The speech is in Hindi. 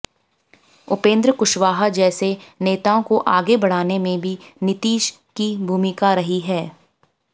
उपेंद्र कुशवाहा जैसे नेताओं को आगे बढ़ाने में भी नीतीश की भूमिका रही है